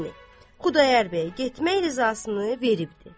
Yəni, Xudayar bəy getmək rızasını veribdi.